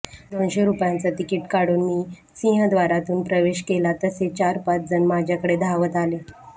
दोनशे रुपयांचं तिकिट काढून मी सिंहद्वारातून प्रवेश केला तसे चार पाच जण माझ्याकडे धावत आले